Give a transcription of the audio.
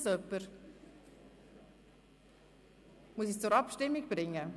Oder muss ich es zur Abstimmung bringen?